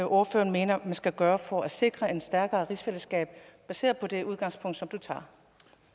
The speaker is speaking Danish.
ordføreren mener man skal gøre for at sikre et stærkere rigsfællesskab baseret på det udgangspunkt